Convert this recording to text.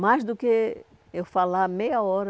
Mais do que eu falar meia hora,